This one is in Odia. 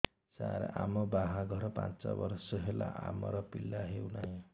ସାର ଆମ ବାହା ଘର ପାଞ୍ଚ ବର୍ଷ ହେଲା ଆମର ପିଲା ହେଉନାହିଁ